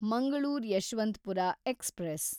Mangalore Yesvantpur express